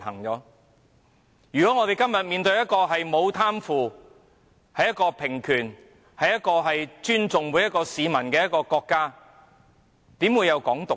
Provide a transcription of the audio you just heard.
如果我們今天面對的是一個沒有貪腐、實行平權及尊重每一位市民的國家，試問又怎會有"港獨"呢？